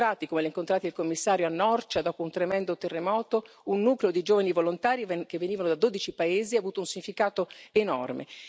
Li ho incontrati, come li ha incontrati il Commissario, a Norcia, dopo un tremendo terremoto un nucleo di giovani volontari che venivano da dodici paesi ha avuto un significato enorme.